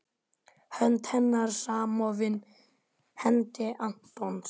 Hönd hennar samofin hendi Antons.